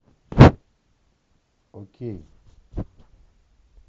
окей